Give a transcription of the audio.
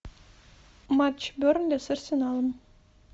матч бернли с арсеналом